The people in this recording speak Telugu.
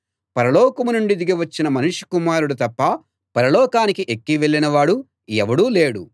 పరలోకం నుండి దిగి వచ్చిన మనుష్య కుమారుడు తప్ప పరలోకానికి ఎక్కి వెళ్ళిన వాడు ఎవడూ లేడు